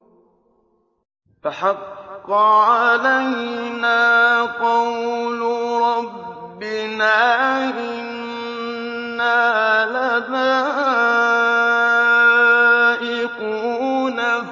فَحَقَّ عَلَيْنَا قَوْلُ رَبِّنَا ۖ إِنَّا لَذَائِقُونَ